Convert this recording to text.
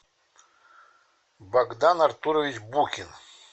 богдан артурович букин